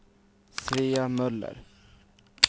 Svea Möller